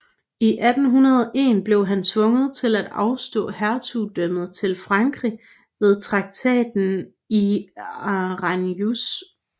I 1801 blev han tvunget til at afstå hertugdømmet til Frankrig ved Traktaten i Aranjuez